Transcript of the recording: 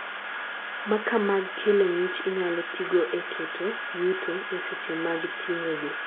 makaa mag kelo ng'ich inyalo tigo e keto yuto e seche mag ting'o gi